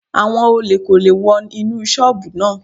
Àwọn olè kò lè wọ inú ṣọ́bùù náà.